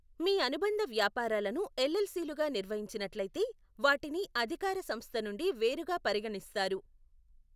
మీ అనుబంధ వ్యాపారాలను ఎల్ఎల్సిలుగా నిర్వహించినట్లయితే, వాటిని అధికార సంస్థ నుండి వేరుగా పరిగణిస్తారు.